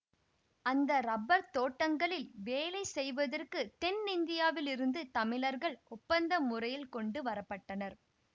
அந்த ரப்பர் தோட்டங்களில் வேலை செய்வதற்கு தென் இந்தியாவில் இருந்து தமிழர்கள் ஒப்பந்த முறையில் கொண்டு வரப்பட்டனர்